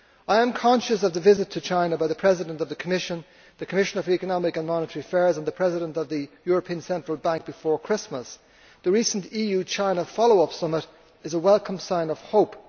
trade. I am conscious of the visit to China by the President of the Commission, the Committee on Economic and Monetary Affairs and the President of the European Central Bank before Christmas. The recent EU China follow up summit is a welcome sign of